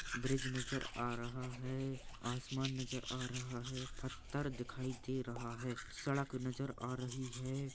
Bridge नजर आ रहा है आसमान नजर आ रहा है पत्थर दिखाई दे रहा है सड़क नजर आ रही है।